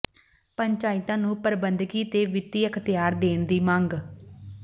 ਪੰਚਾਇਤਾਂ ਨੂੰ ਪ੍ਰਬੰਧਕੀ ਤੇ ਵਿੱਤੀ ਅਖ਼ਤਿਆਰ ਦੇਣ ਦੀ ਮੰਗ